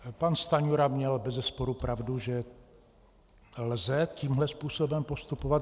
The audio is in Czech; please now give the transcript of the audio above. Pan Stanjura měl bezesporu pravdu, že lze tímhle způsobem postupovat.